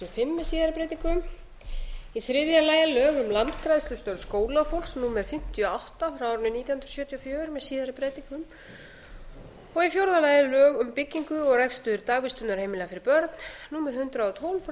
fimm með síðari breytingum þriðja lög um landgræðslustörf skólafólks númer fimmtíu og átta nítján hundruð sjötíu og fjögur með síðari breytingum fjórða lög um byggingu og rekstur dagvistarheimila fyrir börn númer hundrað og tólf